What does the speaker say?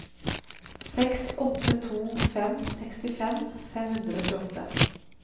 seks åtte to fem sekstifem fem hundre og tjueåtte